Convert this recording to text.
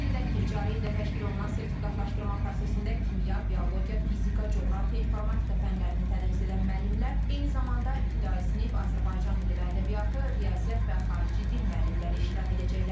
Qeyd edək ki, cari ildə təşkil olunan sertifikatlaşdırma prosesində kimya, biologiya, fizika, coğrafiya, informatika fənlərini tədris edən müəllimlər, eyni zamanda ibtidai sinif, Azərbaycan dili və ədəbiyyatı, riyaziyyat və xarici dil müəllimləri iştirak edəcəklər.